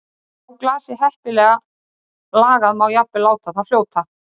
Hún hefur áberandi þverrendur á skildinum sem gefur henni auðkennandi útlit.